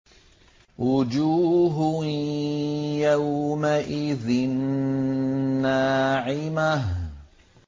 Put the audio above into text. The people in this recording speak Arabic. وُجُوهٌ يَوْمَئِذٍ نَّاعِمَةٌ